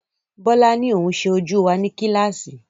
Bọ́lá ni oun sẹ ojú wa ní kílàsì